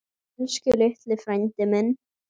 Elsku litli frændi minn.